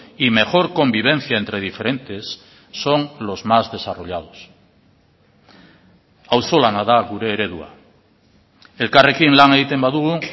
y mejor convivencia entre diferentes son los más desarrollados auzolana da gure eredua elkarrekin lan egiten badugu